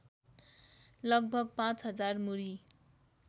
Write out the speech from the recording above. लगभग ५ हजार मुरी